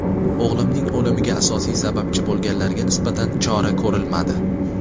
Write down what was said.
O‘g‘limning o‘limiga asosiy sababchi bo‘lganlarga nisbatan chora ko‘rilmadi.